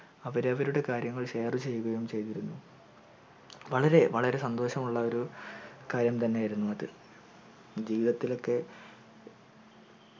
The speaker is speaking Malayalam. അവരാവരുടെ share ചെയ്യുകയും ചയിതിരുന്നു വളരെ വളരെ സന്തോഷമുള്ളോരു കാര്യം തന്നെയായിരുന്നു അത് ജീവിതത്തിലൊക്കെ